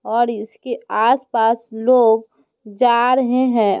और इसके आसपास लोग जा रहे हैं।